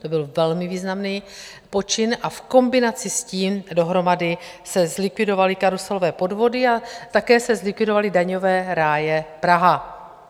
To byl velmi významný počin a v kombinaci s tím dohromady se zlikvidovaly karuselové podvody a také se zlikvidovaly daňové ráje - Praha.